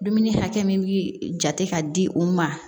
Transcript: Dumuni hakɛ min bi jate k'a di u ma